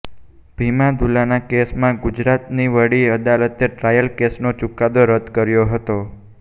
ભીમા દુલાના કેસમાં ગુજરાતની વડી અદાલતે ટ્રાયલ કેસનો ચૂકાદો રદ્દ કર્યો હતો